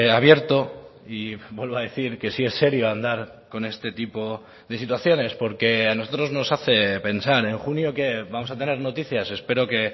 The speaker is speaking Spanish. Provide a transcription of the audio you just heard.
abierto y vuelvo a decir que si es serio andar con este tipo de situaciones porque a nosotros nos hace pensar en junio qué vamos a tener noticias espero que